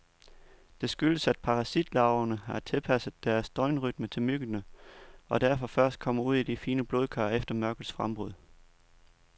Det skyldes, at parasitlarverne har tilpasset deres døgnrytme til myggene, og derfor først kommer ud i de fine blodkar efter mørkets frembrud.